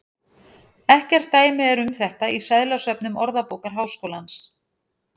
Ekkert dæmi er um þetta í seðlasöfnum Orðabókar Háskólans.